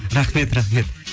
рахмет рахмет